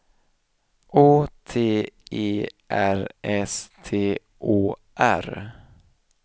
Å T E R S T Å R